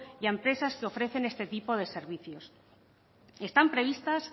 y a empresas que ofrecen este tipo de servicios están previstas